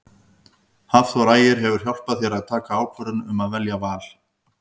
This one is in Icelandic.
Hafþór Ægir hefur hjálpað þér að taka ákvörðun um að velja Val?